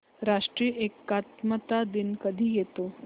राष्ट्रीय एकात्मता दिन कधी येतो